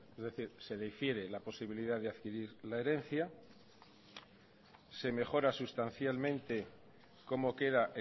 es decir se difiere la posibilidad de adquirir una herencia se mejora sustancialmente cómo queda